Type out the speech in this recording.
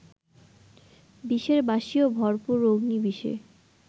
বিষের বাঁশীও ভরপুর অগ্নিবিষে